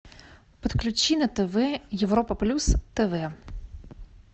подключи на тв европа плюс тв